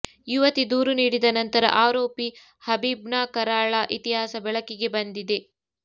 ಯುವತಿ ದೂರು ನೀಡಿದ ನಂತರ ಆರೋಪಿ ಹಬೀಬ್ನ ಕರಾಳ ಇತಿಹಾಸ ಬೆಳಕಿಗೆ ಬಂದಿದೆ